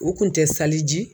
U kun tɛ saliji